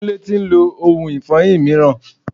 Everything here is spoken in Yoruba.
Kúnlé tí ń lo ohun ifọyin mìíràn.